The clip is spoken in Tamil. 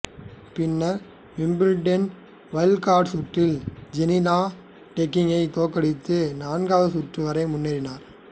பின்னர் விம்பிள்டன் வைல்டு கார்டு சுற்றில் ஜெலீனா டொகிக் தோற்கடித்து நான்காவது சுற்று வரை முன்னேறினர்